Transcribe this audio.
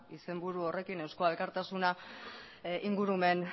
izenburu horrekin eusko alkartasuna ingurumen